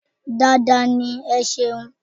Dáadáa ní. Ẹ ṣeun..